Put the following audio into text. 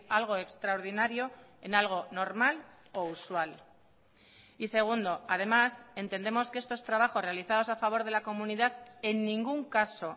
algo extraordinario en algo normal o usual y segundo además entendemos que estos trabajos realizados a favor de la comunidad en ningún caso